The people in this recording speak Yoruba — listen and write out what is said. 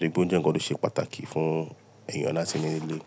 N to jẹ ńkan tó ṣe pàtàkì fún eeyàn láti ní nilé.